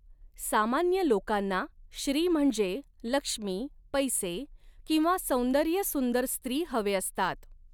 सामान्य लोकांना श्री म्हणजे लक्ष्मी पैसे किंवा साैंदर्य सुंदर स्त्री हवे असतात.